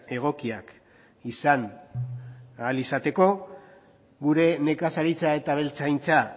egokiak izan ahal izateko gure nekazaritza eta abeltzaintza